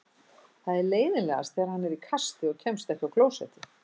Það er leiðinlegast þegar hann er í kasti og kemst ekki á klósettið.